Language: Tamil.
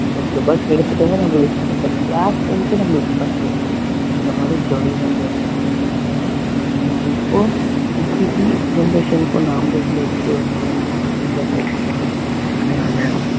பத்து ரூபாய் கிடைச்சிட்டாதான் நம்ம class room க்கே நம்மளுக்கு first தான் இந்த மாதிரி jolly தான் பண்ணணும் இல்லைங்களா ஆனால் இப்போ இப்படிக்கு generationக்கு ஒண்ணுக்கு ரொம்ப ரொம்ப வித்தியாசம் இருக்குங்க அதனால